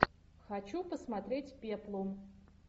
хочу посмотреть пеплум